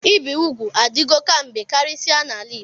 Ịbi ụgwụ adigọ kamgbe karisia n'ala Igbo.